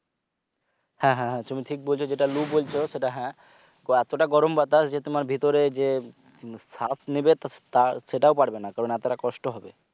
হ্যাঁ হ্যাঁ তুমি ঠিক বলছো যেটা লু বলছো যেটা হ্যাঁ তো এতটা গরম বাতাস যে তোমার ভেতরে যে শ্বাস নেবে তো সেটাও পারবে না কারণ এতটা কষ্ট হবে